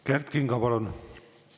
Kert Kingo, palun!